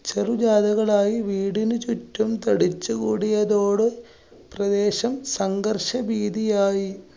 ചെറു കളായി വീടിനു ചുറ്റും തടിച്ചു കൂടിയതോടെ, പ്രദേശം സംഘർഷ ഭീതിയായി.